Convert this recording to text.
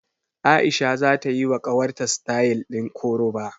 A'isha zata yiwa ƙawarta sitayal ɗin koroba.